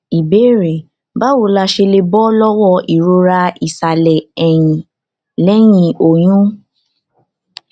ìbéèrè báwo la ṣe lè bọ lọwọ ìrora ìsàlẹ ẹyìn lẹyìn oyún